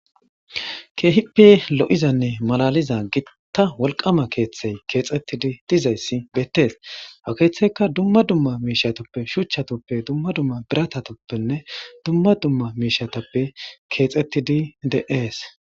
Keehippe lo7izanne malaliza gitta wolqama keeththey keexettidi dizayssi beettees ha keeththeyka dumma dumma miishatoppe shuchchatoppe dumma dumma biratatoppenne dumma dumma miishatappe keexettidi de7ees.